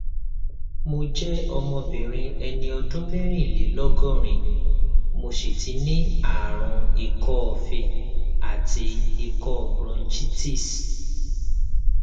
mo jẹ obìnrin ẹni ọdún mẹrìnlélọgọrin mo sì tí ní àrùn ikọọfe àti ikọ bronchitis